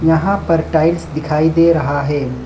यहाँ पर टाइल्स दिखाई दे रहा है।